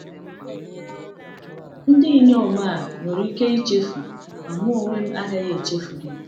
“Ndị inyom a nwere ike ichefu, ma m onwe m agaghị echefu gị.”